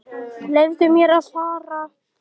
Leyfðu mér að fara.